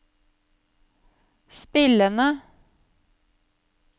spillende